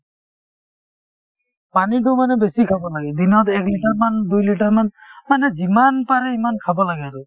পানীতো মানে বেছি খাব লাগে দিনত এক লিটাৰমান দুই লিটাৰমান মানে যিমান পাৰে সিমান খাব লাগে আৰু